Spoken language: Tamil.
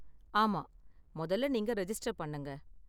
ஆமா, மொதல்ல நீங்க ரெஜிஸ்டர் பண்ணுங்க.